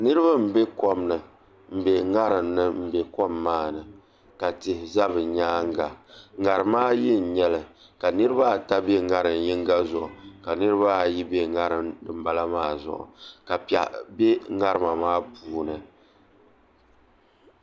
Niraba n bɛ kom ni n bɛ ŋarim ni n bɛ kom maa ni ka tihi ʒɛ bi nyaanga ŋarima ayi n nyɛli ka niraba ata bɛ ŋarim yinga zuɣu ka niraba ayi bɛ ŋarim dinbala maa ni ka piɛɣu bɛ ŋarima maa puuni